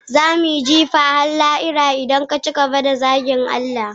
za mu yi jifa har lahira idan ka ci gaba da zagin Allah